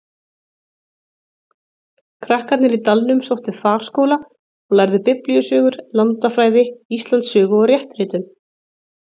Krakkarnir í dalnum sóttu farskóla og lærðu Biblíusögur, landafræði, Íslandssögu og réttritun.